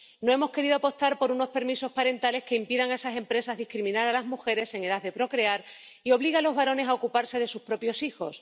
No hemos querido apostar por unos permisos parentales que impidan a esas empresas discriminar a las mujeres en edad de procrear y obliguen a los varones a ocuparse de sus propios hijos.